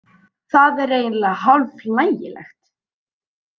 Það er eiginlega hálf hlægilegt